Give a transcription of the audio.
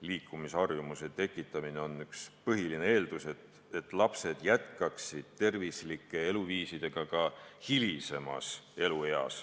Liikumisharjumuse tekitamine on üks põhiline eeldus, et lapsed jätkaksid tervislikku eluviisi ka täiskasvanuna.